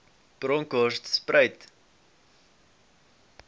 bronkhortspruit